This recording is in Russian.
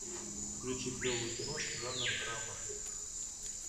включи клевую киношку жанр драма